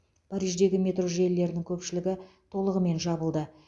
париждегі метро желілерінің көпшілігі толығымен жабылды